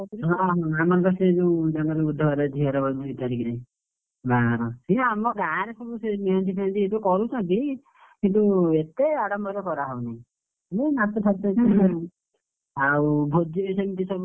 ହଁ ଆମର ବା ସେ ଯୋଉ ଜଣେ ବୁଧବାରେ ସେଝିଅର ହବ ଦି ତାରିଖରେ ଆଁ ସେ ଆମ ଗାଁରେ ସବୁ ସେ ମେହେନ୍ଦୀ ଫେହେନ୍ଦୀ ଏବେ କରୁଛନ୍ତି କିନ୍ତୁ ଏତେ ଆଡମ୍ବରରେ କରା ହଉନି, ଏ ନାଚ ଆଉ ଭୋଜି ସେମିତି ସବୁ,